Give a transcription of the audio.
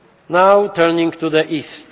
Now turning to the